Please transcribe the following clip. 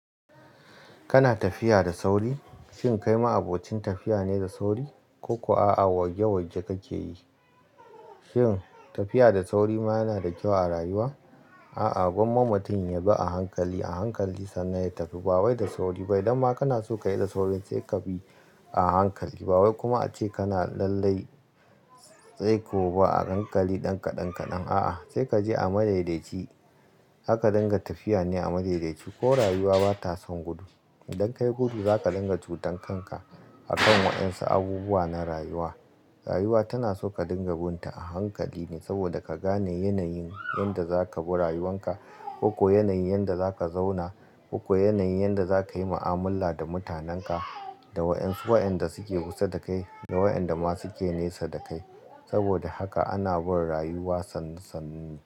Kana tafiya da sauri? Shin kai ma abocin tafiya ne da sauri? Ko kuwa a'a warge warge kake yi? Shin tafiya da sauri ma yana da kyau a rayuwa? A'a, gwamma mutum ya bi a hankali, a hankali sannan ya tafi. Ba wai da sauri ba. Idan ma kana so ka yi da sauri, sai ka bi a hankali. Ba wai kuma ace kana lallai sai kabi a hankali ɗan kaɗan, ɗan kaɗan. A'a, sai ka je a madaidaici. Harka dinga tafiya ne a madaidaici, ko rayuwa bata son gudu. Idan ka yi gudu zaka dinga cutan kanka, a kan waɗansu abubuwa na rayuwa. Rayuwa tana so ka dinga bin ta a hankali ne, saboda ka gane yanayin yadda zaka bi rayuwan ka. Koko yanayin yadda za ka zauna, koko yanayin yadda za ka yi mu'amala da mutanenka, da waɗansu waɗanda suke kusa da kai da waɗanda ma suke nesa da kai. Saboda haka, ana bin rayuwa sannu sannun ta.